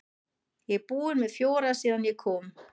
Ég er búinn með fjóra síðan ég kom.